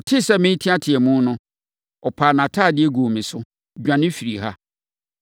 Ɔtee sɛ mereteateam no, ɔpaa nʼatadeɛ guu me so, dwane firii fie ha.”